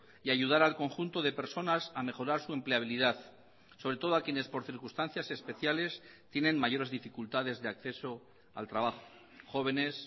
y ayudar al conjunto de personas a mejorar su empleabilidad sobre todo a quienes por circunstancias especiales tienen mayores dificultades de acceso al trabajo jóvenes